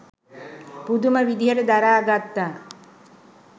පුදුම විදිහට දරා ගත්තා.